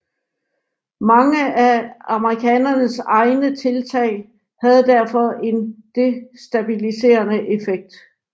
Mange af amerikanernes egne tiltag havde derfor en destabiliserende effekt